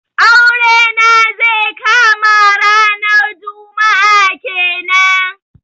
Aure na zai kama ranar juma'a kenan.